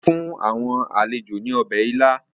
Wọ́n fún àwọn àlejò ní ọbẹ̀ ila.